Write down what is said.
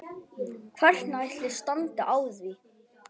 Hvernig ætli standi á því?